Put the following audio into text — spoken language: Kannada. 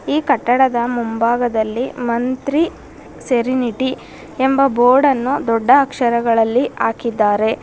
ಈ ಕಟ್ಟಡದ ಮುಂಭಾಗದಲ್ಲಿ ಮಂತ್ರಿ ಸೆರೆನಿಟಿ ಎಂಬ ಬೋರ್ಡ್ ಅನ್ನು ದೊಡ್ಡ ಅಕ್ಷರಗಳಲ್ಲಿ ಹಾಕಿದ್ದಾರೆ.